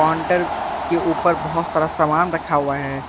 Counter के ऊपर बहोत सारा सामान रखा हुआ है।